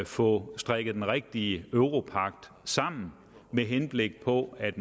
få strikket den rigtige europagt sammen med henblik på at